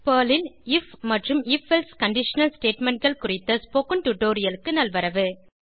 Perl ல் if மற்றும் if else conditional statementகள் குறித்த ஸ்போகன் டுடோரியலுக்கு நல்வரவு